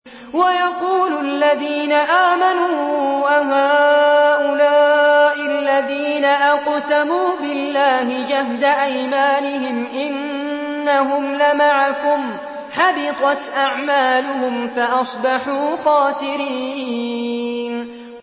وَيَقُولُ الَّذِينَ آمَنُوا أَهَٰؤُلَاءِ الَّذِينَ أَقْسَمُوا بِاللَّهِ جَهْدَ أَيْمَانِهِمْ ۙ إِنَّهُمْ لَمَعَكُمْ ۚ حَبِطَتْ أَعْمَالُهُمْ فَأَصْبَحُوا خَاسِرِينَ